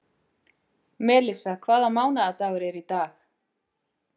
Melissa, hvaða mánaðardagur er í dag?